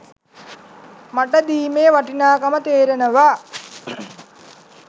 මට දීමේ වටිනාකම තේරෙනවා.